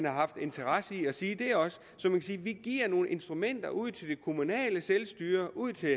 haft interesse i at sige det også så vi giver nogle instrumenter ud til det kommunale selvstyre ud til